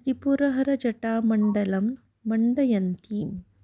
त्रिपुरहरजटामण्डलं मण्डयन्तीम्